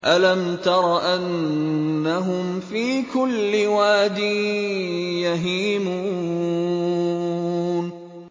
أَلَمْ تَرَ أَنَّهُمْ فِي كُلِّ وَادٍ يَهِيمُونَ